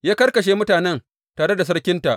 Ya karkashe mutanen tare da sarkinta.